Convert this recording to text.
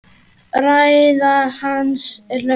Ræða hans er löng.